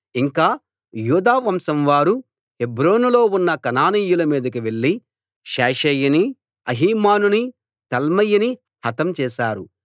ఇంకా యూదా వంశం వారు హెబ్రోనులో ఉన్న కనానీయుల మీదికి వెళ్లి షేషయిని అహీమానుని తల్మయిని హతం చేశారు